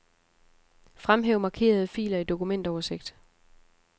Fremhæv markerede filer i dokumentoversigt.